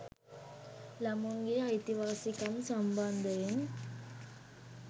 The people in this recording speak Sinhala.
ළමුන්ගේ අයිතිවාසිකම් සම්බන්ධයෙන්